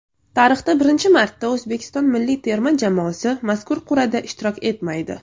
Tarixda birinchi marta O‘zbekiston milliy terma jamoasi mazkur qur’ada ishtirok etmaydi.